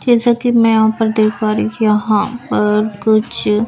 जैसा कि मैं यहां पर देख पा रही हूं कि यहां पर कुछ--